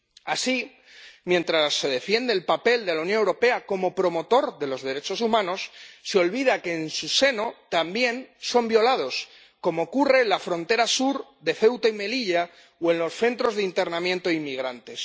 Así, mientras se defiende el papel de la Unión Europea como promotor de los derechos humanos se olvida que en su seno también son violados, como ocurre en la frontera sur de Ceuta y Melilla o en los centros de internamiento de inmigrantes.